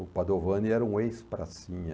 O Padovani era um ex-pracinha.